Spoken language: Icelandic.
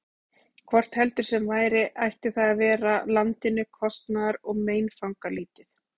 Hvort heldur sem væri, ætti það að vera landinu kostnaðar- og meinfangalítið.